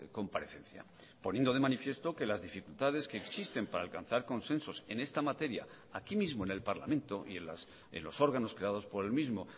comparecencia poniendo de manifiesto que las dificultades que existen para alcanzar consensos en esta materia aquí mismo en el parlamento y en los órganos creados por el mismo